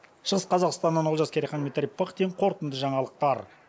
шығыс қазақстаннан олжас керейхан дмитрий пыхтин қорытынды жаңалықтар